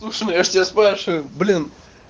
слушай ну я же тебя спрашиваю блин